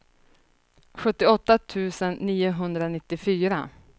sjuttioåtta tusen niohundranittiofyra